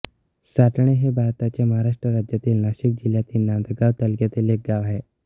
साटणे हे भारताच्या महाराष्ट्र राज्यातील नाशिक जिल्ह्यातील नांदगाव तालुक्यातील एक गाव आहे